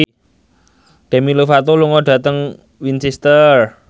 Demi Lovato lunga dhateng Winchester